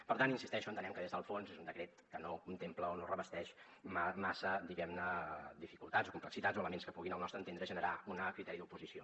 per tant hi insisteixo entenem que des del fons és un decret que no contempla o no revesteix massa diguemne dificultats complexitats o elements que puguin al nostre entendre generar un criteri d’oposició